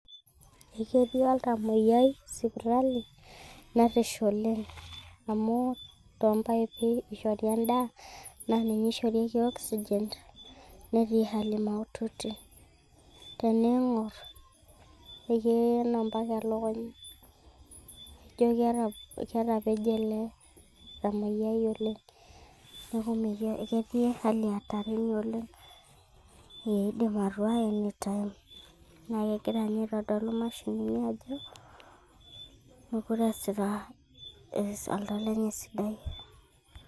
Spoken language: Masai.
E ketii oltamoyia sipitali, nerish oleng' amu too mpipi eishori endaa, ninye eishorieki oxygen, netii hali maututi. Teningor ne keena mpaka elukunya, ijo ketapeje ele tamoyiai oleng neaku ketii hali hatarini oleng. Keidim atua anytime naa kegira ninye aitodolu nimashinini ajo mokure easita oltau lenye esidai.